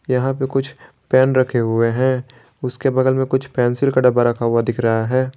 यहां पे कुछ पेन रखे हुए है उसके बगल में कुछ पेंसिल का डब्बा रखा हुआ दिख रहा है।